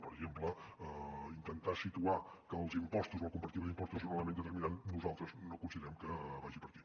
per exemple intentar situar que els impostos la comparativa d’impostos és un element determinant nosaltres no considerem que vagi per aquí